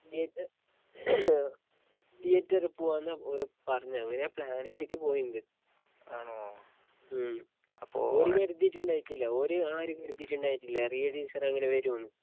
ഏത് തീയേറ്ററി പൂവാന്ന ഓര് പറഞ്ഞത് അങ്ങനാ പ്ലാനിട്ടീട്ട് പോയിന്നത് ഉം ഓര് കര്തീട്ടിണ്ടായിട്ടില്ല ഓര് ആരും കര്തീട്ടിണ്ടായിട്ടില്ല റിയ ടീച്ചറ് അങ്ങനെ വരൂന്ന്